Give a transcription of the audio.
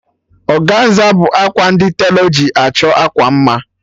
Ọganza bụ akwa ndi telọ ji achọ akwa mma